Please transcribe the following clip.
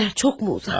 Getdiyin yer çoxmu uzaq?